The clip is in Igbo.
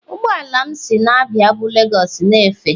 Ụgbọ ala m si Abia bu lagos na-efe.